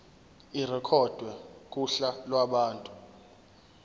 irekhodwe kuhla lwabantu